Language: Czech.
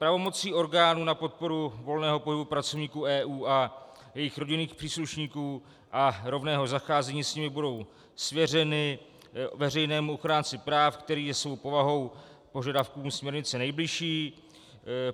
Pravomoci orgánů na podporu volného pohybu pracovníků EU a jejich rodinných příslušníků a rovného zacházení s nimi budou svěřeny veřejnému ochránci práv, který je svou povahou požadavkům směrnice nejbližší.